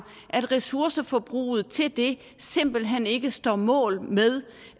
at ressourceforbruget til det simpelt hen ikke står mål med